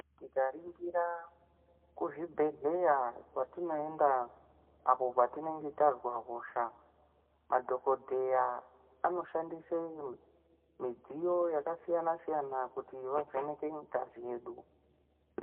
Tikaringira kuzvibhehleya kwatinoenda apo patinenge tazwe hosha madhokodheya anoshandise midziyo yakasiyana siyana kuti vavheneke ngazi yedu .